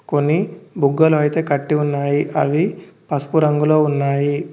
కొన్ని బుగ్గలు అయితే కట్టి ఉన్నాయి అవి పసుపు రంగులో ఉన్నాయి.